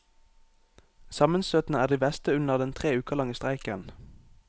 Sammenstøtene er de verste under den tre uker lange streiken.